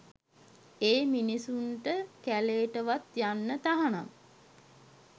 ඒ මිනිස්සුන්ට කැලේටවත් යන්න තහනම්